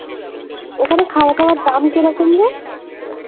ওখানে খাওয়াদাওয়ার দাম কিরকম রে?